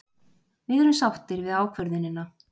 Við erum sáttir við ákvörðunina.